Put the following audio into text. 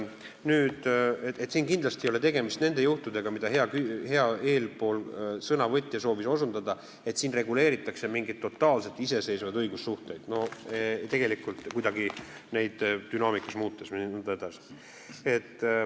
Siin ei ole kindlasti tegemist nende juhtudega, millele hea eespool sõnavõtja soovis osutada, nagu siin reguleeritaks mingeid totaalseid iseseisvaid õigussuhteid, et neid kuidagi dünaamikas muuta jne.